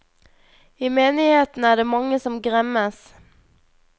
I menigheten er det mange som gremmes.